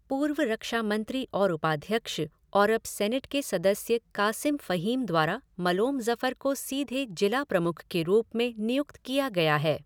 पूर्व रक्षा मंत्री और उपाध्यक्ष और अब सीनेट के सदस्य कासिम फहीम द्वारा मलोम ज़फर को सीधे जिला प्रमुख के रूप में नियुक्त किया गया है।